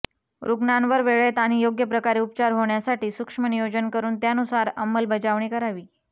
रुग्णांवर वेळेत आणि योग्य प्रकारे उपचार होण्यासाठी सूक्ष्म नियोजन करुन त्यानुसार अंमलबजावणी करावी